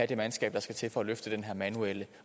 det mandskab der skal til for at løfte den her manuelle